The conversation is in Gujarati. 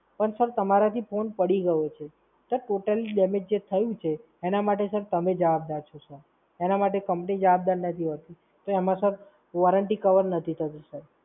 પણ Sir તમારાથી phone પડી ગયો છે. Sir Total Damage થયું છે, એના માટે Sir તમે જવાબદાર છો Sir એના માટે Company જવાબદાર નથી હોતી. તો એમાં Sir Warranty cover નથી થતી Sir.